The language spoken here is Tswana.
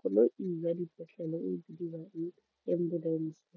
koloi ya dipetlele e bidiwang ambulance.